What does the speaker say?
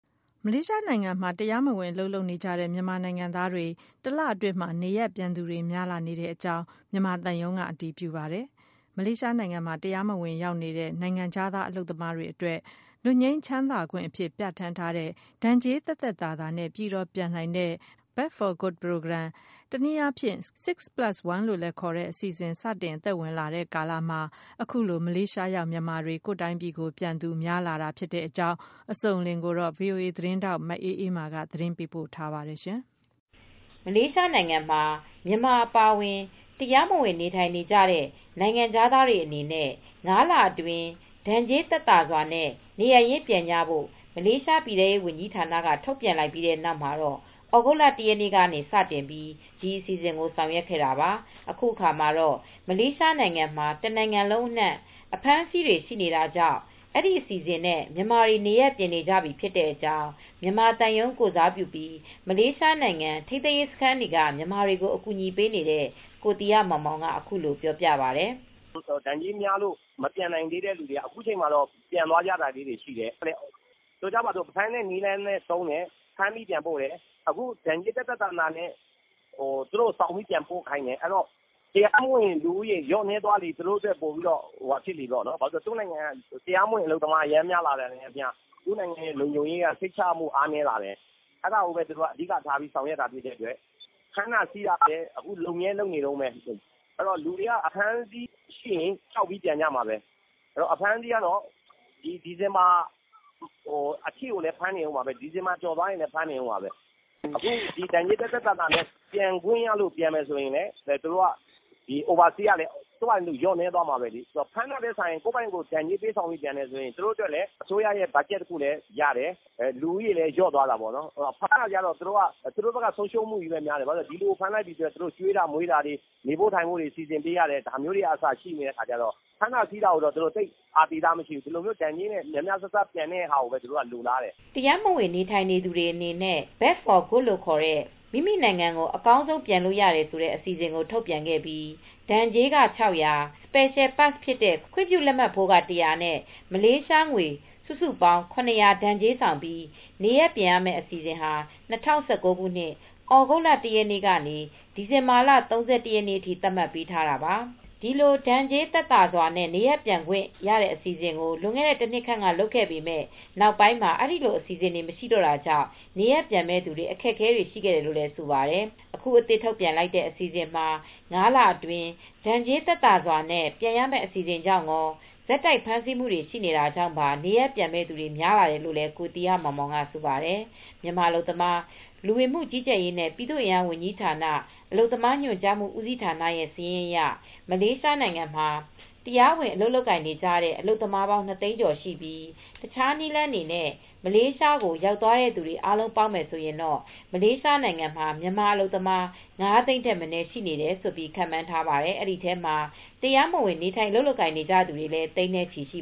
မလေးရှားနိုင်ငံမှာ တရားမဝင် အလုပ်လုပ်နေကြတဲ့ မြန်မာနိုင်ငံသားတွေ တလအတွင်းမှာ နေရပ်ပြန်သူတွေ များလာ နေကြောင်း မြန်မာသံရုံးက အတည်ပြုပါတယ်။ မလေးရှားနိုင်ငံမှာ တရားမဝင် ရောက်ရှိနေတဲ့ နိုင်ငံခြားသား အလုပ်သမားတွေ အတွက် လွတ်ငြိမ်းချမ်းသာခွင့် အဖြစ် ပြဌာန်းထားတဲ့ ဒဏ်ကြေးသက်သက်သာသာနဲ့ အပြီးသတ် ပြန်နိုင်တဲ့ " Back For Good " Program ၊ တနည်းအားဖြင့် ( 6 + 1 ) လို့လည်း ခေါ်တဲ့ အစီအစဉ်ကို စတင်အသက်ဝင်လာတဲ့ ကာလမှာ အခုလို မလေးရှား ရောက် မြန်မာတွေ ကိုယ့်တိုင်းပြည်ကို ပြန်နေကြတာ ဖြစ်ကြောင်း အစုံအလင်ကို ဗွီအိုအေ သတင်းထောက် မအေးအေးမာက သတင်းပေးပို့ထားပါတယ်။ မလေးရှားနိုင်ငံမှာ မြန်မာအပါအဝင် တရားမဝင် နေထိုင်နေတဲ့ နိုင်ငံခြားသားတွေ အနေနဲ့ ၅ လအတွင်း ဒဏ်ကြေးသက်သာစွာနဲ့ နေရပ်ရင်းပြန်ကြဖို့ မလေးရှား ပြည်ထဲရေး ဝန်ကြီးဌာနက ထုတ်ပြန်လိုက်ပြီး နောက် သြဂုတ်လ ၁ ရက်နေ့က စတင်ပြီး ဒီအစီအစဉ်ကို ဆောင်ရွက်ခဲ့တာပါ။ အခုအခါမှာတော့ မလေးရှားမှာ တနိုင်ငံလုံး အနှံ့ှံ အဖမ်းဆီးတွေ ကတော့ ရှိနေတာကြောင့် ဒီအစီစဉ်နဲ့ မြန်မာတွေနေရပ်ပြန်နေကြပြီ ဖြစ်တဲ့အကြောင်း့မြန်မာသံရုံး ကိုယ်စားပြုပြီး မလေးရှားနိုင်ငံ ထိန်းသိမ်းရေးစခန်းတွေက မြန်မာတွေကို အကူညီပေးနေတဲ့ ကိုသီဟမောင်မောင် က ပြောပါတယ်။ “ ဒဏ်ကြေးများလို့ မပြန်နိုင်သေးတဲ့ သူတွေက အခုအချိန်မှာတော့ ပြန်သွားကြတာလေးတွေ ရှိတယ်။ ဆိုကြပါစို့ ဖမ်းတဲ့ နည်းလမ်းလည်း သုံးတယ်။ ဖမ်းပြီး ပြန်ပို့တယ်။ အခု ဒဏ်ကြေး သက်သက်သာသာနဲ့ သူတို့ ဆောင်ပြီး ပြန်ပို့ခိုင်းတယ်။ ဆိုတော့ တရားမဝင် လူဦးရေ လျော့နည်းသွားလေ သူတို့ အတွက် ပိုပြီးတော့ ဟို ဘာဖြစ်လို့လည်း ဆိုတော့ သူတို့ နိုင်ငံက တရားမဝင် အလုပ်သမား အရမ်း များလာတာနဲ့ အမျှ သူတို့ နိုင်ငံရဲ့ လုံခြုံရေးက စိတ်ချရမှု အားနည်းလာတယ်။ အဲဒါကိုဘဲ သူတို့က အဓိက ထားပြီး ဆောင်ရွက်တာ ဖြစ်တဲ့ အတွက် ဖမ်းတာ ဆီးတာလည်း အခု လုပ်မြဲ လုပ်နေတုန်းဘဲ။ အဲတော့ လူတွေက အဖမ်းအဆီး ရှိရင် ကြောက်ပြီး ပြန်ကြမှာဘဲ။ အဖမ်းအဆီးကတော့ ဒီ ဒီဇင်ဘာ အထိကိုလည်း ဖမ်းနေဦးမှာဘဲ။ ဒီဇင်ဘာ ကျော်သွားရင်လည်း ဖမ်းနေဦးမှာဘဲ။ အခု ဒဏ်ကြေး သက်သက်သာသာနဲ့ ပြန်ခွင့်ရလို့ ပြန်မယ်ဆိုရင်လည်း သူတို့က ဒီ Overstay ကလည်း သူ့ဘာသာသူ လျော့နည်းသွားမှာဘဲလေ။ ဖမ်းတာထက်စာရင် ဒဏ်ကြေးပေးပြန်တယ် ဆိုရင် သူတို့ အတွက်လည်း အစိုးရ အတွက်က ဘတ်ဂျက် တခုလည်း ရတယ်။ လူဦးရေလည်း လျော့သွားတာပေါ့နော်။ ဖမ်းတာကျတော့ သူတို့ဘက်က ဆုံးရှုံးမှုလည်း များတယ်။ ဘာဖြစ်လို့လဲ ဆိုတော့ ဒီလူကို ဖမ်းလိုက်ပြီ ဆိုရင် သူတို့ ကျွေးတာ မွေးတာတွေ နေဖို့ ထိုင်ဖို့တွေ စီစဉ်ပေးရတယ်။ ဒါမျိုးတွေကစ ရှိနေတဲ့ အခါကျတော့ ဖမ်းတာဆီးတာကိုတော့ သူတို့ သိပ် အာသီသ မရှိဘူး။ ဒီလိုမျိုး ဒဏ်ကြေးနဲ့ များများစားစား ပြန်တဲ့ ဟာကိုဘဲ သူတို့က လိုလားတယ်။ ” တရားမဝင် နေထိုင်နေသူတွေ အနေနဲ့ (Back For Good ) လို့ခေါ်တဲ့ မိခင်နိုင်ငံကို အပြီးသတ် ပြန်နိုင်တဲ့ အစီအစဉ်ကို ထုတ်ပြန်ခဲ့ပြီး ဒဏ်ကြေးက မလေးရှားငွေ Ringgit ၆၀၀ ၊ Secial Pass ခွင့်ပြုလက်မှတ်ဖိုးက Ringgit ၁၀၀ နဲ့ စုစုပေါင်း Ringgit ၇၀၀ ဒဏ်ကြေးဆောင်ပြီး နေရပ်ပြန်ရမယ့် အစီစဉ်ကို ဒီနှစ် ၂၀၁၉ ခုနှစ် သြဂုတ်လ ၁ ရက်နေ့က စတင်ခဲ့ပြီး ဒီဇင်ဘာလ ၃၁ ရက်နေ့အထိ သတ်မှတ်ပေးထားတာပါ။ ဒီလိုဒဏ်ကြေး သက်သာစွာ နေရပ်ပြန်ခွင့် အစီစဉ်ကို လွန်ခဲ့တဲ့ တနှစ်ခန့်က လုပ်ခဲ့ပေမယ့် နောက်ပိုင်းမှာ ဒီလိုအစီစဉ်တွေ မရှိတော့တာကြောင့် နေရပ်ပြန်မဲ့ သူ တွေ အခက်အခဲတွေ ရှိခဲ့တယ်လို့ ဆိုပါတယ်။ အခု အသစ်ထုတ်ပြန်လိုက်တဲ့ အစီစဉ်မှာ ၅ လအတွင်း ဒဏ်ကြေးသက်သာစွာနဲ့ ပြန်ရမဲ့ အစီစဉ်ကြောင့်ရော ဆက်တိုက် ဖမ်းဆီးနေတာ ကြောင့်ပါ နေရပ်ပြန်မဲ့သူတွေ များလာတယ်လို့လည်း ကိုသီဟမောင်မောင်က ဆိုပါတယ်။ မြန်မာ အလုပ်သမား၊ လူဝင်မူကြီးကြပ်ရေးနဲ့ ပြည်သူ့အင်အား ဝန်ကြီးဌာန လက်အောက်ရှိ အလုပ်သမားညွန်ကြားမှု ဦးစီးဌာနရဲ့စာရင်းအရ မလေးရှားမှာ တရားဝင် အလုပ်လုပ်နေကြတဲ့ မြန်မာ အလုပ်သမားပေါင်း ၂ သိန်းကျော်ရှိပါတယ်။ မလေးရှားကို တခြားနည်းလမ်းတွေနဲ့ တရားမဝင် ရောက်နေသူတွေနဲ့ အားလုံးပေါင်းရင် မလေးရှားမှာ မြန်မာ အလုပ်သမား ၅ သိန်း ထက်မနည်း ရှိတယ်လို့ ခန့်မှန်းထားတဲ့အတွက် တရားမဝင် မြန်မာအလုပ်သမားတွေဟာ သိန်းနဲ့ချီပြီး ရှိ